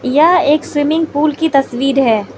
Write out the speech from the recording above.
यह एक swimming pool की तस्वीर है।